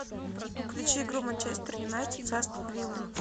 включи игру манчестер юнайтед с астон виллой